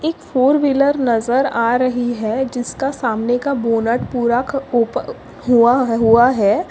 एक four wheeler नज़र आ रही है जिसका सामने का बोनट पूरा का ओप हुआ हुआ है।